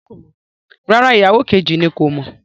Rárá, ìyàwó kejì kò mọ̀